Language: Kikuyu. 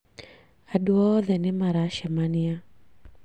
Andũ oothe nĩmaracemania